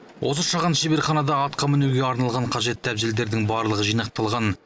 осы шағын шеберханада атқа мінуге арналған қажетті әбзелдердің барлығы жинақталған